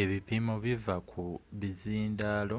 ebipimo biva ku bizindaalo